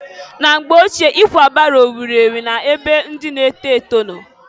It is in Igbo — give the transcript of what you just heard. Na mgbe ochie, ikwa baro wuru ewu na-ebe ndị na-eto eto nọ.